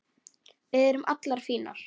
Við erum allar fínar